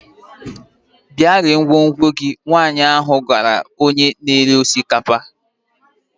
Bịa ree ngwongwo gị! Nwanyị ahụ gwara onye na-ere osikapa